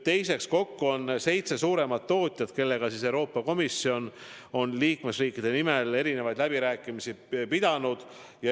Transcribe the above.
Teiseks, kokku on seitse suuremat tootjat, kellega Euroopa Komisjon on liikmesriikide nimel läbirääkimisi pidanud.